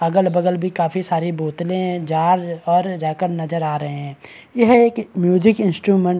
अगल-बगल भी काफी सारी बोतले जार्ज और राकम नजर आ रहे है यह एक म्यूजिक इंस्ट्रूमेंट --